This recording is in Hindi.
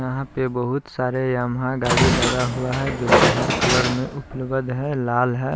यहां पे बहुत सारे यामाहा गाड़ी लगा हुआ है जोकि हर कलर में उपलब्ध है लाल है।